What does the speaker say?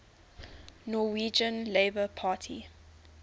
norwegian labour party